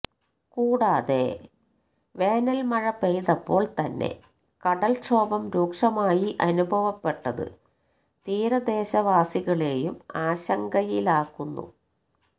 കൂടാതെ വേനല് മഴ പെയ്തപ്പോള് തന്നെ കടല് ക്ഷോഭം രൂക്ഷമായി അനുഭവപ്പെട്ടത് തീരദേശവാസികളേയും ആശങ്കയിലാക്കുന്നു